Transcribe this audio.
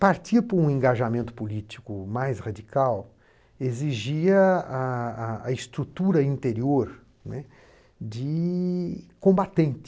Partir para um engajamento político mais radical exigia a a a estrutura interior, né, de combatente.